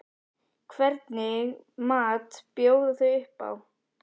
Hvernig mat bjóða þau upp á?